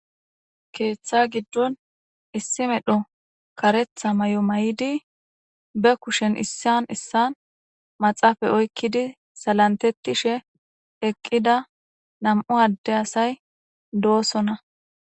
keeththa giddon issi medho karetha may7o may7idi be kushen issan issan maxaafay oykkidi salantettishe eqqida nam7u adde asay doosona